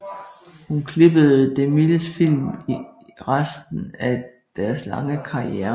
Hun klippede DeMilles film i resten af deres lange karriere